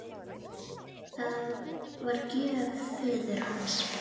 Það var gjöf föður hans.